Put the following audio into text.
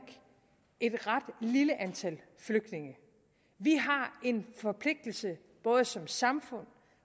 et ret lille antal flygtninge vi har en forpligtelse både som samfund